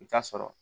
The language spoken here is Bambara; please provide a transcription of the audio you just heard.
I bi taa sɔrɔ